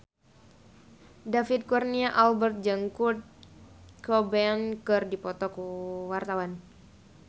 David Kurnia Albert jeung Kurt Cobain keur dipoto ku wartawan